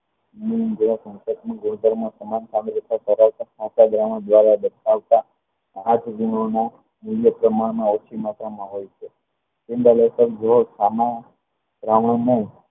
ગુણધર્મ સમાનતા ધરાવતા દ્રાવણ દ્વારા દર્શાવતા પાંચ ગુણોના પ્રમાણમાં ઓછી માત્રામાં હોય છે